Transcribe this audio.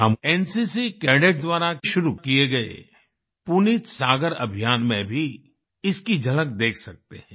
हम NCC cadets NCC cadets द्वारा शुरू किए गये पुनीत सागर अभियान में भी इसकी झलक देख सकते हैं